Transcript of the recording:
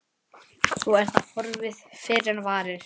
Svo er það horfið fyrr en varir.